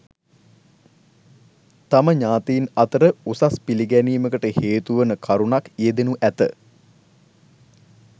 තම ඥාතීන් අතර උසස් පිළිගැනීමකට හේතුවන කරුණක් යෙදෙනු ඇත.